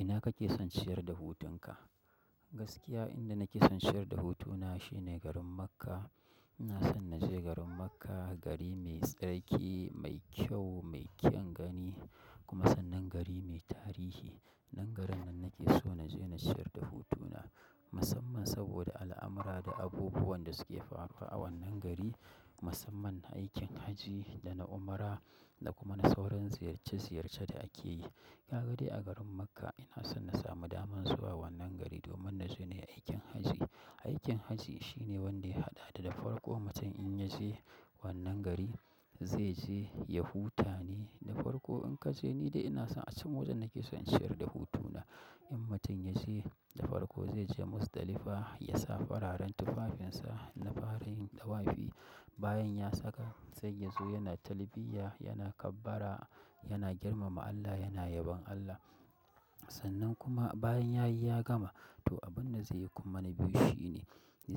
Ina kake son ciyar da hutunka? Gaskiya inda nake son ciyar da hutuna shine garin Makkah. Ina son na je garin Makkah, gari mai tsarki, mai kyau, mai kyan gani, kuma sannan gari mai tarihi. Nan garin nan nake so na je na ciyar da hutuna, musamman saboda al'amurra da abubuwan da suke faruwa a wannan gari, musamman aikin hajji da na umra da kuma na sauran ziyarce ziyarce da ake yi. Ka ga dai a garin Makkah ina son na samu daman zuwa wannan gari domin na je ne aikin hajji. Aikin hajji shine wanda ya haɗa da, da farko mutum in ya je wannan gari, zai je ya huta ne da farko. In ka je, ni dai ina son a can wajen nake son ciyar da hutuna. In mutum ya je da farko zai je Muzdalifa, ya sa fararen tufafinsa na farin ɗawafi. Bayan ya saka, zai ya zo yana talbiyya, yana kabbara, yana girmama Allah, yana yabon Allah. Sannan kuma bayan ya yi ya gama, to abin da zai yi kuma na biyu shi ne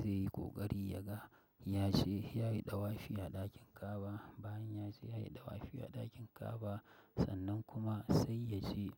zai yi ƙoƙari ya ga ya je ya yi ɗawafi a ɗakin ka'aba. Bayan ya je ya yi ɗawafi a ɗakin kaba, sannan kuma sai ya je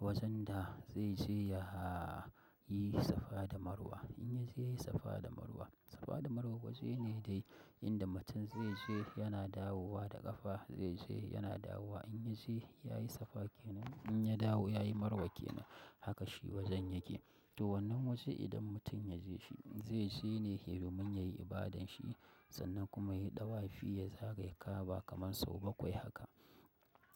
wajen da zai je ya yi safa da marwa. In ya je yayi safa da marwa, safa da marwa waje ne dai inda mutum zai je yana dawowa da ƙafa, zai je yana dawowa. In ya je ya yi safa ke nan, in ya dawo ya yi marwa ke nan. Haka shi wajen yake. To wannan waje idan mutum ya je shi, zai je ne domin yayi ibadan shi sannan kuma yayi ɗawafi ya zagaya ka'aba kamar sau bakwai haka.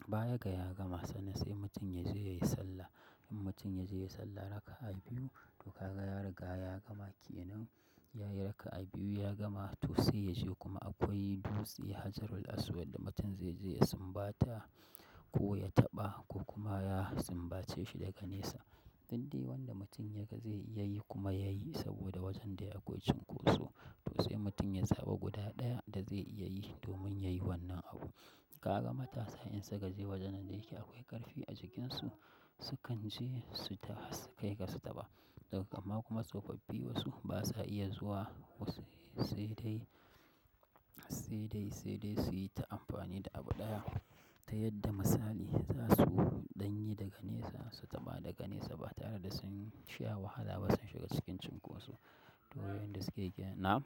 Baya ga ya gama, sannan sai mutum ya je ya yi sallah. In mutum ya je ya yi sallah raka'a biyu, to ka ga ya riga ya gama ke nan. Ya yi raka'a biyu ya gama to sai ya je kuma akwai dutse Hajjaru-l-Aswad da mutum zai je ya sumbata, ko ya taɓa, ko kuma ya sumbace shi daga nesa. Duk da yadda mutum ya ga zai iya yi, kuma ya yi saboda wajen da akwai cunkoso. To sai mutum ya zaɓi guda ɗaya da zai iya yinshi domin ya yi wannan abu. Ka ga matasa in suka je wajen da yake akwai ƙarfi a jikinsu, su kan je su, har su kai ga su taɓa. Da, amma kuma tsofaffi wasu ba sa iya zuwa sai dai, sai dai, sai dai su yi ta amfani da abu ɗaya ta yadda misali za su ɗanyi daga nesa su taɓa daga nesa ba tare da sun sha wahala ba sun shiga cikin cunkoso. To yanda suke yi kenan, nam.